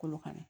Kolo kari